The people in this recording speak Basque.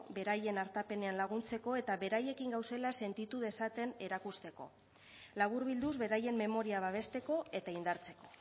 beraien artapenean laguntzeko eta beraiekin gaudela sentitu dezaten erakusteko laburbilduz beraien memoria babesteko eta indartzeko